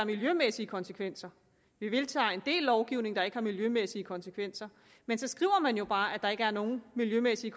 miljømæssige konsekvenser vi vedtager en del lovgivning der ikke har miljømæssige konsekvenser men så skriver man jo bare at der ikke er nogen miljømæssige